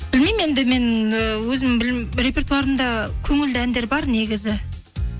білмеймін енді мен і репертуарымда көңілді әндер бар негізі